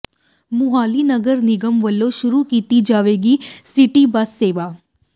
ਮੁਹਾਲੀ ਨਗਰ ਨਿਗਮ ਵੱਲੋਂ ਸ਼ੁਰੂ ਕੀਤੀ ਜਾਵੇਗੀ ਸਿਟੀ ਬੱਸ ਸੇਵਾ